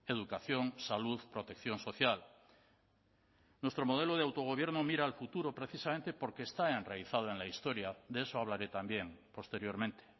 educación salud protección social nuestro modelo de autogobierno mira al futuro precisamente porque está enraizado en la historia de eso hablaré también posteriormente